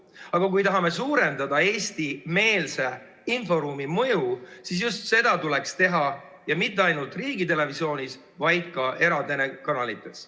Aga kui tahame suurendada eestimeelse inforuumi mõju, siis just seda tuleks teha ja mitte ainult riigitelevisioonis, vaid ka eratelekanalites.